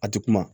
A ti kuma